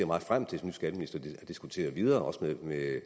meget frem til som skatteminister at diskutere videre også med